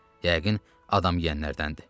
Yəqin, adam yeyənlərdəndir.